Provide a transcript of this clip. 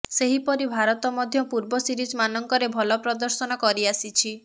ସେହିପରି ଭାରତ ମଧ୍ୟ ପୂର୍ବ ସିରିଜମାନଙ୍କରେ ଭଲ ପ୍ରଦର୍ଶନ କରିଆସିଛି